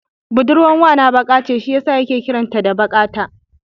Budurwar wana baƙa ce shi yasa yake kiran ta da Baƙata.